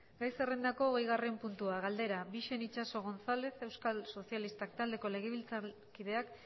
gai zerrendako hogeigarren puntua galdera bixen itxaso gonzález euskal sozialistak taldeko legebiltzarkideak